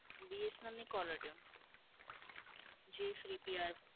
BSNL ની callertune, જે free PR